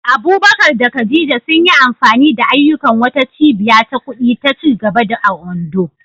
Abubakar da Khadija sun yi amfani da ayyukan wata cibiya ta kudi ta ci gaba a Ondo.